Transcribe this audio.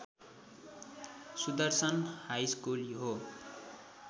Sudarshan high school हो